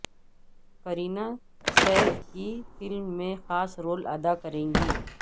قرینہ سیف کی فلم میں خاص رول اداکریں گی